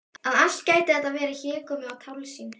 Að allt gæti þetta verið hégómi og tálsýn!